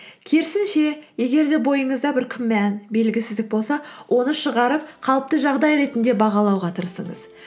керісінше егер де бойыңызда бір күмән белгісіздік болса оны шығарып қалыпты жағдай ретінде бағалауға тырысыңыз